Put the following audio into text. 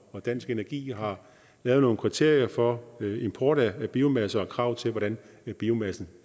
og dansk energi har lavet nogle kriterier for import af biomasse og krav til hvordan biomassen